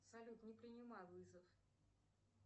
салют не принимай вызов